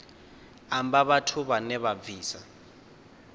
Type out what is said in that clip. amba vhathu vhane vha bvisa